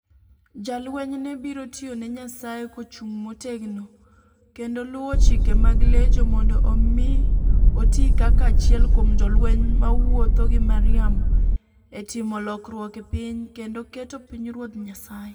Jalweny ne biro tiyo ne Nyasaye kochung' motegno kendo luwo chike mag Legion mondo omi oti kaka achiel kuom jolweny mawuotho gi Mariam e timo lokruok e piny, kendo keto pinyruodh Nyasaye.